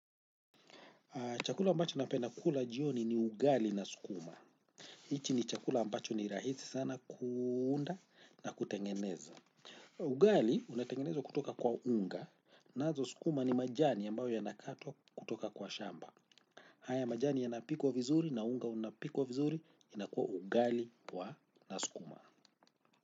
Chakula ambacho napenda kula jioni ni ugali na sukuma. Hichi ni chakula mbacho ni rahisi sana kuunda na kutengeneza. Ugali unatengenezwa kutoka kwa unga nazo sukuma ni majani ambayo yanakatwa kutoka kwa shamba. Haya majani yanapikwa vizuri na unga unapikwa vizuri inakuwa ugali kwa na sukuma.